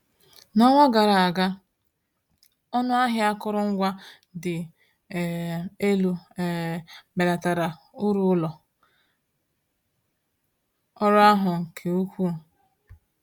N’ọnwa gara aga, ọnụ ahịa akụrụngwa dị um elu um belatara uru ụlọ ọrụ ahụ nke ukwuu.